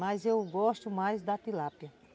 Mas eu gosto mais da tilápia.